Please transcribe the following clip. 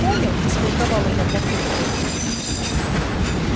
понял растолковала я папульке